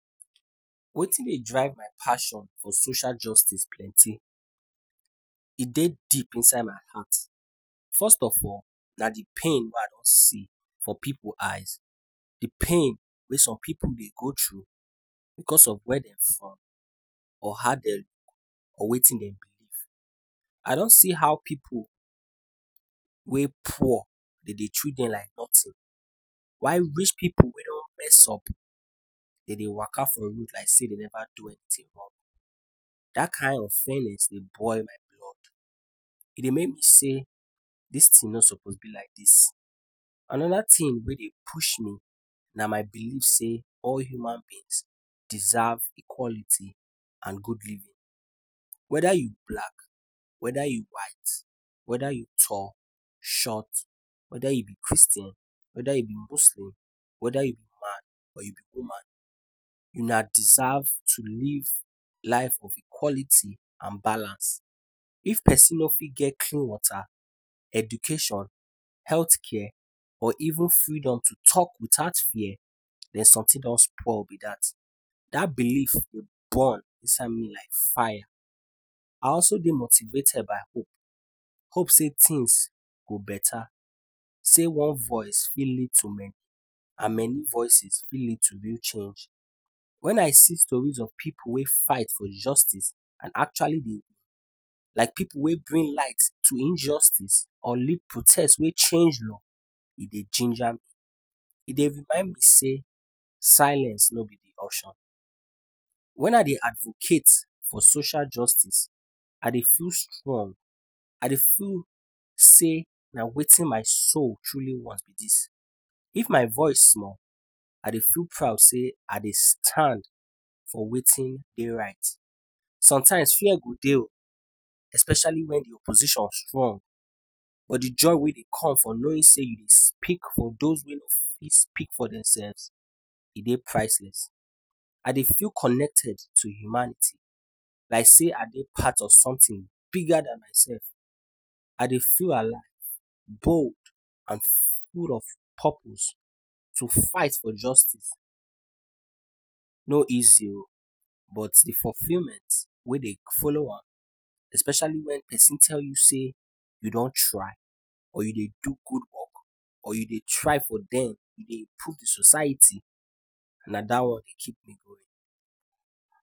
Wetin dey drive my passion for social justice plenty, e dey deep inside my heart. First of all, na de pain wey I don see for pipu eyes, the pain wey some pipu dey go through, because of where dem from, or how dem or wetin dem do before. I don see how pipu wey poor dem de treat dem like nothing, while rich pipu wey don mess up de dey waka for road like sey dem never do anything wrong, dat kind of feelings dey boil my blood, e dey make me sey dis thing nor suppose be like dis. Another thing wey dey push me, na my believe sey all human beings deserve equality and good living, whether you black, whether you white, whether you tall, short, whether you be Christian, whether you be Muslim, whether you be man or you be woman una deserve to live life of equality and balance. If person nor fit get clean water, education, healthcare, or even freedom to talk without fear, den something don spoil be dat. Dat believe burn inside me like fire. I also dey motivated by hope, hope sey things go better, sey one voice go fit lead to many and many voices fit lead to real change. When I see stories of pipu wey fight for justice and actually dey, like pipu wey bring light to injustice or lead protest wey change law, e dey ginger me. E dey remind me sey silence no be option. When I dey advocate for social justice I dey feel strong, I dey feel sey na wetin my soul truely want this, if my voice small I dey feel proud sey I dey stand for wetin dey right. Sometimes fear go dey o especially wen de opposition strong, but de joy wey dey come for knowing sey you dey speak for those wey nor fit speak for themselves e dey priceless. I dey feel connected to humanity, like sey I dey part of something bigger than myself, I dey feel alive, bold and full of purpose. To fight for justice. E no easy o, but de fulfillment wey dey follow am, especially wen person tell you say you don try or you dey do good work, or you dey try for dem, you dey improve de society, na dat one dey keep me going.